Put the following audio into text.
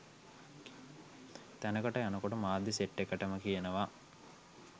තැනකට යනකොට මාධ්‍ය සෙට් එකටම කියනවා.